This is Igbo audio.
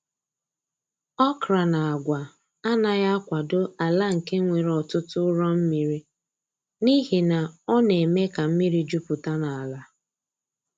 Okra na agwa anaghị akwado ala nke nwere ọtụtụ ụrọ mmiri, n’ihi na ọ na-eme ka mmiri jupụta n’ala.